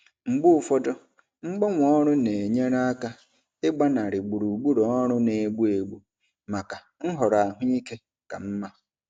Mgbe ụfọdụ mgbanwe ọrụ na-enyere aka ịgbanarị gburugburu ọrụ na-egbu egbu maka nhọrọ ahụike ka mma.